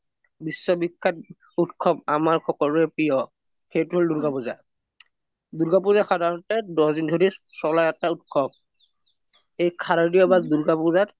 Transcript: বিশ্ববিখ্যাত উত্‍সৱ আমাৰ সকলোৰে প্ৰিয় সেইটো হ’ল দুৰ্গা পুজা, দুৰ্গা পুজা সাধাৰণতে দহ দিন ধৰি চ্লা এটা উত্‍সৱ এই সৰদিয় বা দুৰ্গা পুজাত